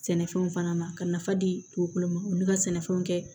Sɛnɛfɛnw fana ma ka nafa di dugukolo ma ulu ka sɛnɛfɛnw kɛ